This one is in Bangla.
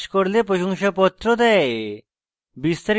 online পরীক্ষা pass করলে প্রশংসাপত্র দেয়